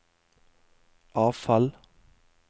avfall